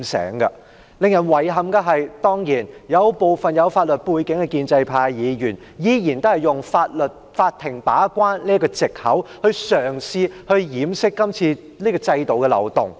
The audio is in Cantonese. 當然，令人遺憾的是有部分具有法律背景的建制派議員，依然嘗試用法庭把關這個藉口掩飾今次修例的漏洞。